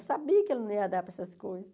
Eu sabia que ela não ia dar para essas coisas.